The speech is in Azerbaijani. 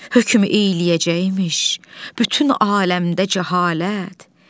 Hükm eyləyəcəkmiş, bütün aləmdə cəhalət.